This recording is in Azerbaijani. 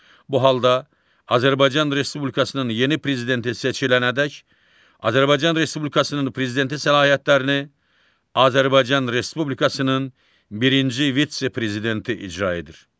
Bu halda Azərbaycan Respublikasının yeni prezidenti seçilənədək Azərbaycan Respublikasının prezidenti səlahiyyətlərini Azərbaycan Respublikasının birinci vitse-prezidenti icra edir.